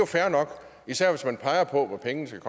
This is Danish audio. fair nok især hvis man peger på hvor pengene skal